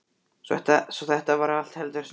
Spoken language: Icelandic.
Svo þetta var allt heldur snúið.